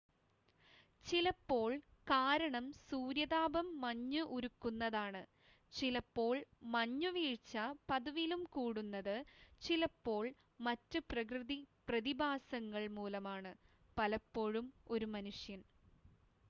ചിലപ്പോൾ കാരണം സൂര്യതാപം മഞ്ഞ് ഉരുക്കുന്നതാണ് ചിലപ്പോൾ മഞ്ഞുവീഴ്ച പതിവിലും കൂടുന്നത് ചിലപ്പോൾ മറ്റ് പ്രകൃതി പ്രതിഭാസങ്ങൾ മൂലമാണ് പലപ്പോഴും ഒരു മനുഷ്യൻ